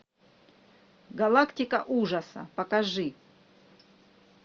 галактика ужаса покажи